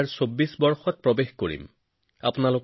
২০২৪ চনত আমি এই চিন্তা আৰু প্ৰভাৱ বজাই ৰখাটো প্ৰয়োজন